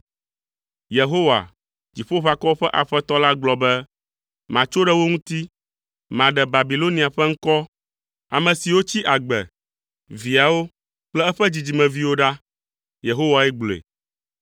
Yehowa, Dziƒoʋakɔwo ƒe Aƒetɔ la gblɔ be, “Matso ɖe wo ŋuti. Maɖe Babilonia ƒe ŋkɔ, ame siwo tsi agbe, viawo kple eƒe dzidzimeviwo ɖa” Yehowae gblɔe.